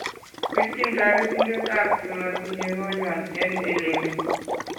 Birchiin toretindet ab chematinye konywan en elemii